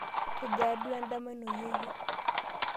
kejaa duo endama ino yeyio?